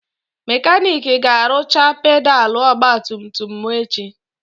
Mekanik ga-arụcha pedalụ ogbatumtum m echi.